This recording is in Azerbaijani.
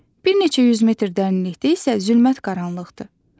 Bir neçə yüz metr dərinlikdə isə zülmət qaranlıqdır.